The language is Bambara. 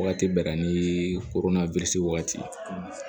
Wagati bɛɛ na ni koronna wagati